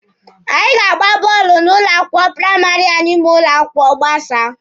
Anyị ga-agba bọọlụ n'ụlọ akwụkwọ praịmarị anyị ma ụlọ akwụkwọ gbasaa.